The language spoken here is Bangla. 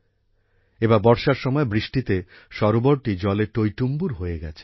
এবার বর্ষার সময় বৃষ্টিতে সরোবরটি জলে টইটুম্বুর হয়ে গেছে